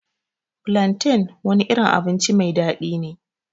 flantain wani irin abinci mai daɗi ne.